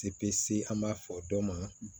an b'a fɔ dɔ ma